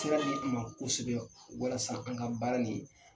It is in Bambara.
sira ma kosɛbɛ walasa an ka baara nin